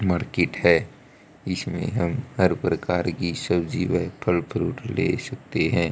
Market है इसमें हम हर प्रकार की सब्जी व फल फ्रूट ले सकते हैं।